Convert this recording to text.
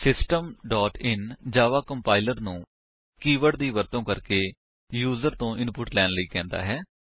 system dot in Java compiler ਨੂੰ keyword ਦੀ ਵਰਤੋ ਕਰਕੇ ਯੂਜਰ ਤੋ ਇਨਪੁਟ ਲੈਣ ਲਈ ਕਹਿੰਦਾ ਹੈ